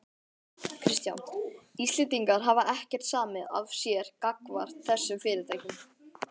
Kristján: Íslendingar hafa ekkert samið af sér gagnvart þessum fyrirtækjum?